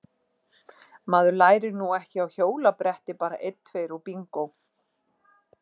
Maður lærir nú ekki á hjólabretti bara einn tveir og bingó!